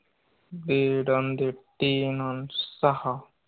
दीड अन दीड तीन अन साहा